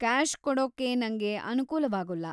Cash ಕೊಡೋಕ್ಕೆ ನಂಗೆ ಅನುಕೂಲವಾಗೂಲ್ಲ.